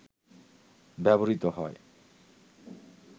ব্যবহৃত হয়